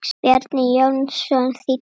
Bjarni Jónsson þýddi.